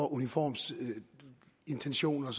uniformsintentioner